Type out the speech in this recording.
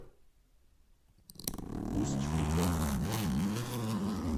усть кутом